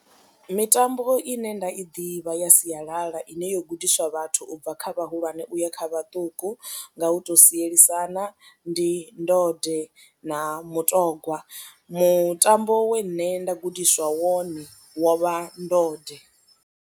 Mitambo ine nda i ḓivha ya sialala ine yo gudiswa vhathu u bva kha vhahulwane u ya kha vhaṱuku nga u tou sielisana ndi ndode na mutogwa, mutambo we nṋe nda gudiswa wone wo vha ndode.